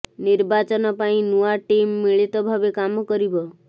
ନିର୍ବାଚନ ପାଇଁ ନୂଆ ଟିମ୍ ମିଳିତ ଭାବେ କାମ କରିବ